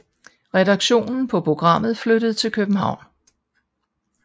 Redaktionen på programmet flyttede til København